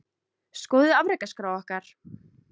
Skoðið afrekaskrá okkar